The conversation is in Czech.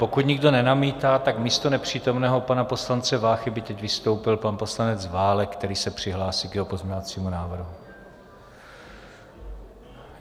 Pokud nikdo nenamítá, tak místo nepřítomného pana poslance Váchy by teď vystoupil pan poslanec Válek, který se přihlásil k jeho pozměňovacímu návrhu.